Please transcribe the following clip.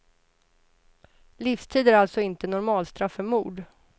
Livstid är alltså inte normalstraff för mord.